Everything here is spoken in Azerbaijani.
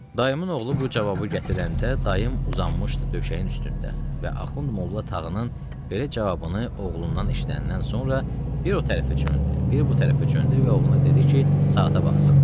Dayımın oğlu bu cavabı gətirəndə, dayım uzanmışdı döşəyin üstündə və Axund Molla Tağının belə cavabını oğlundan eşidəndən sonra bir o tərəfə çöndü, bir bu tərəfə çöndü və oğluna dedi ki, saata baxsın.